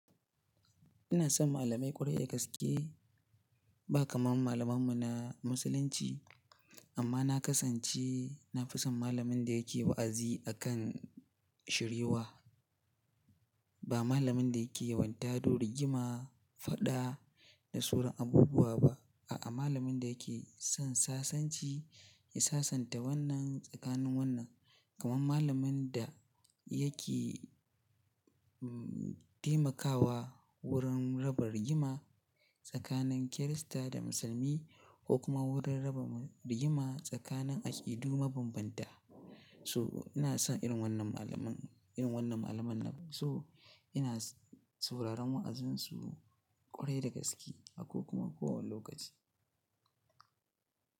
Ina son malamai ƙwarai da gaske ba kamar malaman mu na Musulunci. Amma na kasance na fi son malamin da yake wa'azi akan shiryiwa. Ba malamin da yake yawan tado rigima, faɗa da soran abubuwa ba. A'a, malamin da yake son sasanci ya sasanta wannan tsakanin wannan. Kaman malamin da yake, um, taimakawa wurin raba rigima tsakanin Kirista da Musulmi ko kuma wurin raba mu rigima tsakanin aƙidu mabambanta. So ina son irin wannan malamin, irin wannan malaman. So ina sauraron wa'azinsu ƙwarai da gaske a ko kuma kowane lokaci.